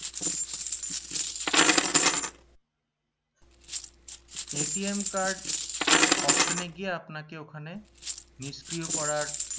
card option এ গিয়ে আপনাকে ওখানে নিষ্ক্রিয় করার